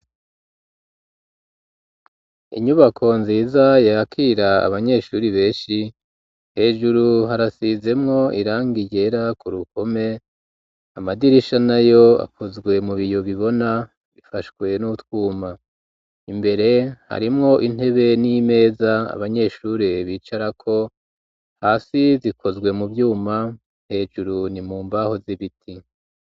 Inyubako nziza yakira abanyeshuri beshi hejuru harasizemwo iranga ryera ku rukome amadirisha nayo akozwe mu biyo bibona bifashwe n'utwuma imbere harimwo intebe n'imeza abanyeshuri bicarako hasi zikozwe mu vyuma hejuru ni mu mbaho z'ibiti